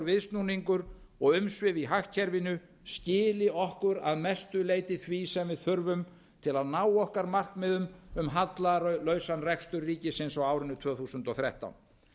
viðsnúningur og umsvif í hagkerfinu skili okkur að mestu leyti því sem við þurfum til að ná okkar markmiðum um hallalausan rekstur ríkisins á árinu tvö þúsund og þrettán